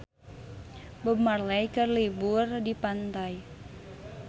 Bob Marley keur liburan di pantai